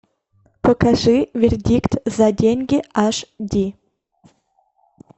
покажи вердикт за деньги аш ди